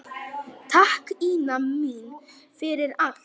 Takk, Ína mín, fyrir allt.